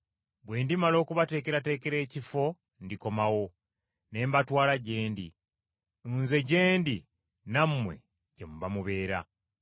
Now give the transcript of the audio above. Bwe ndimala okubateekerateekera ekifo ndikomawo, ne mbatwala gye ndi, Nze gye ndi nammwe gye muba mubeera.